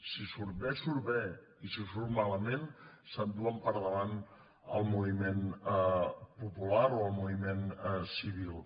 si surt bé surt bé i si surt malament se’n duen per davant el moviment popular o el moviment civil